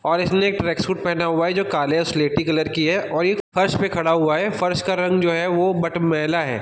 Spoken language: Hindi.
और इसलिए एक ट्रैक सूट पहना हुआ है जो काले स्लेटी कलर की है और वो फर्श पर खड़ा हुआ है और फर्श का रंग जो है वो मटमैला है।